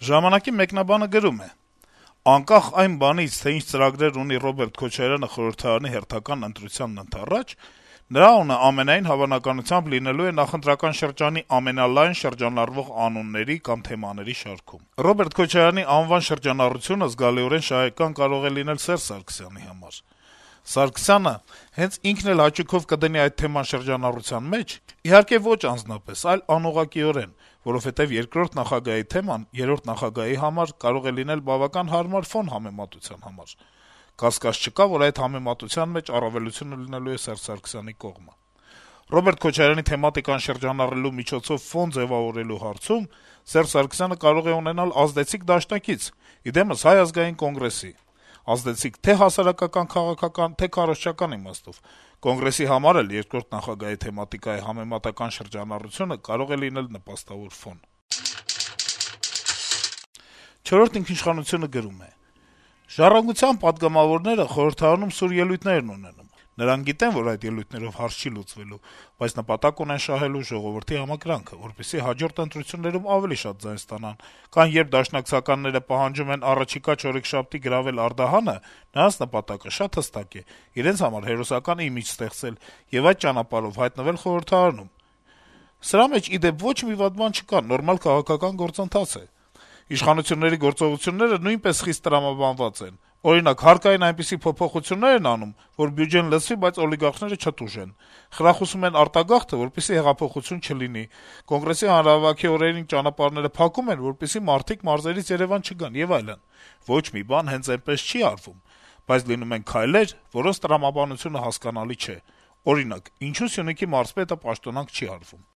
«Ժամանակ»-ի մեկնաբանը գրում է. - «Անկախ այն բանից, թե ինչ ծրագրեր ունի Ռոբերտ Քոչարյանը խորհրդարանի հերթական ընտրությանն ընդառաջ, նրա անունն ամենայն հավանականությամբ լինելու է նախընտրական շրջանի ամենալայն շրջանառվող անունների կամ թեմաների շարքում։ Ռոբերտ Քոչարյանի անվան շրջանառությունը զգալիորեն շահեկան կարող է լինել Սերժ Սարգսյանի համար: Սարգսյանը հենց ինքն էլ հաճույքով կդնի այդ թեման շրջանառության մեջ, իհարկե ոչ անձնապես, այլ անուղղակիորեն, որովհետեւ երկրորդ նախագահի թեման երրորդ նախագահի համար կարող է լինել բավական հարմար ֆոն համեմատության համար։ Կասկած չկա, որ այդ համեմատության մեջ առավելությունը լինելու է Սերժ Սարգսյանի կողմը։ Ռոբերտ Քոչարյանի թեմատիկան շրջանառելու միջոցով ֆոն ձեւավորելու հարցում Սերժ Սարգսյանը կարող է ունենալ ազդեցիկ դաշնակից` ի դեմս Հայ ազգային կոնգրեսի: Ազդեցիկ թե' հասարակական-քաղաքական, թե' քարոզչական իմաստով: Կոնգրեսի համար էլ երկրորդ նախագահի թեմատիկայի համեմատական շրջանառությունը կարող է լինել նպաստավոր»: «Չորրորդ ինքնիշխանություն»-ը գրում է. - «Երբ «Ժառանգության» պատգամավորները խորհրդարանում սուր ելույթներ են ունենում, նրանք գիտեն, որ այդ ելույթներով հարց չի լուծվելու, բայց նպատակ ունեն շահելու ժողովրդի համակրանքը, որպեսզի հաջորդ ընտրություններում ավելի շատ ձայն ստանան, կամ երբ դաշնակցականները պահանջում են առաջիկա չորեքշաբթի գրավել Արդահանը, նրանց նպատակը շատ հստակ է` իրենց համար հերոսական իմիջ ստեղծել եւ այդ ճանապարհով հայտնվել խորհրդարանում: Սրա մեջ, ի դեպ, ոչ մի վատ բան չկա. նորմալ քաղաքական գործընթաց է: Իշխանությունների գործողությունները նույնպես տրամաբանված են: Օրինակ, հարկային այնպիսի փոփոխություններ են անում, որ բյուջեն լցվի, բայց օլիգարխները չտուժեն, խրախուսում են արտագաղթը, որպեսզի հեղափոխություն չլինի, Կոնգրեսի հանրահավաքի օրերին ճանապարհները փակում են, որպեսզի մարդիկ մարզերից Երեւան չգան եւ այլն: Ոչ մի բան հենց այնպես չի արվում: Բայց լինում են քայլեր, որոնց տրամաբանությունը հասկանալի չէ: Օրինակ` ինչո՞ւ Սյունիքի մարզպետը պաշտոնանկ չի արվում»: